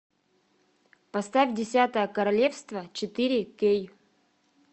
поставь десятое королевство четыре кей